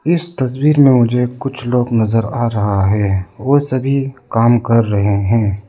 इस तस्वीर में मुझे कुछ लोग नजर आ रहा है वो सभी काम कर रहे हैं।